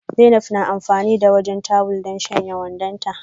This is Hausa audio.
Zainab na amfani da wajen tuwil don shanya wandonta.